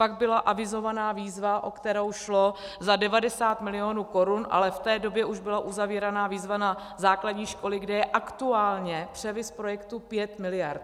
Pak byla avizována výzva, o kterou šlo, za 90 milionů korun, ale v té době už byla uzavírána výzva na základní školy, kde je aktuálně převis projektu 5 miliard.